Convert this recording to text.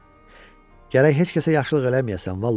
Gərək heç kəsə yaxşılıq eləməyəsən, vallah.